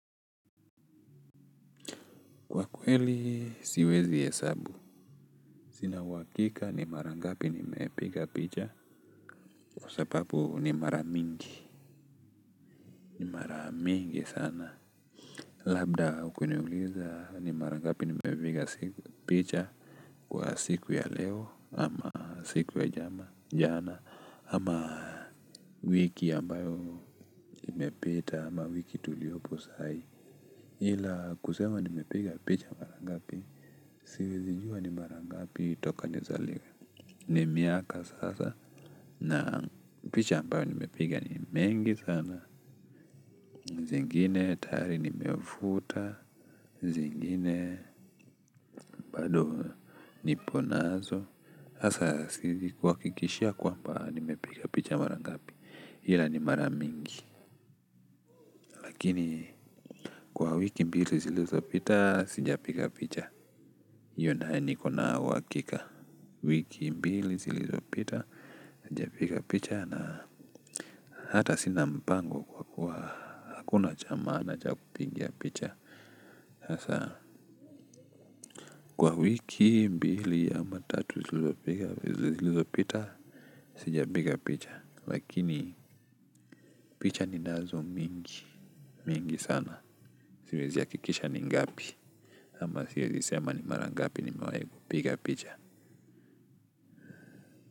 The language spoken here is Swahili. Kwa kweli siwezi hesabu sina uhakika ni mara ngapi nimepiga picha kwa sababu ni mara mingi ni mara mingi sana labda ukiniuliza ni mara ngapi nimepiga picha kwa siku ya leo ama siku ya jana ama wiki ambayo imepeta ama wiki tuliopo sai ila kusema nimepiga picha mara ngapi siwezi jua ni mara ngapi toka nizaliwe. Ni miaka sasa na picha ambayo nimepiga ni mengi sana. Zingine, tayari nimefuta, zingine, bado niponazo. Asa sikuwa kuhakikishia kwamba nimepiga picha mara ngapi ila ni mara mingi. Lakini kwa wiki mbili zilizopita, sijapiga picha iyo nayo nikona uhakika. Wiki mbili zilizopita, sijapiga picha. Na hata sina mpango kwa kuwa hakuna cha maana cha kupigia picha. Sasa kwa wiki, mbili, ama tatu, zilizopita, sijapiga picha. Lakini picha ninazo mingi, mingi sana. Siwezi ya kuhakikisha ni ngapi. Ama siwezi sema ni mara ngapi nimewai kupiga picha.